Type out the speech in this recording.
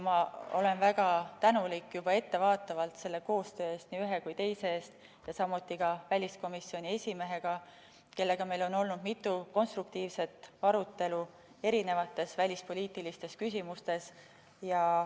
Ja olen väga tänulik juba ettevaatavalt selle koostöö eest, nii ühe kui ka teise eest, samuti väliskomisjoni esimehega, kellega meil on olnud mitu konstruktiivset arutelu välispoliitilistes küsimustes.